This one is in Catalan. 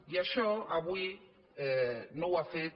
i això avui no ho ha fet